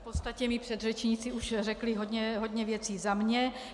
V podstatě mí předřečníci už řekli hodně věcí za mě.